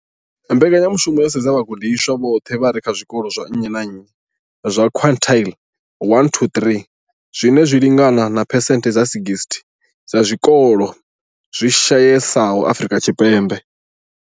Mbekanya mushumo yo sedza vhagudiswa vhoṱhe vha re kha zwikolo zwa nnyi na nnyi zwa quintile 1-3, zwine zwa lingana na phesenthe dza 60 ya zwikolo zwi shayesaho Afrika Tshipembe.